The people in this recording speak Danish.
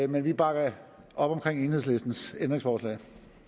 men vi bakker op om enhedslistens ændringsforslag